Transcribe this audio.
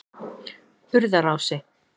Urðarási